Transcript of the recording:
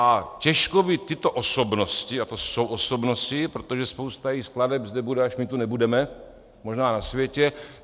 A těžko by tyto osobnosti - a to jsou osobnosti, protože spousta jejich skladeb zde bude, až my tu nebudeme možná na světě.